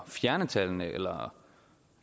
fjerne tallene eller